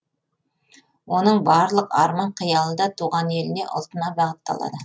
оның барлық арман қиялы да туған еліне ұлтына бағытталады